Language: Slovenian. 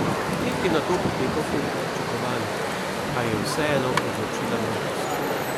Tek je nato potekal po pričakovanjih, a je vseeno odločila mladost.